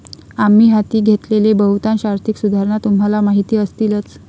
आम्ही हाती घेतलेल्या बहुतांश आर्थिक सुधारणा तुम्हाला माहिती असतीलच.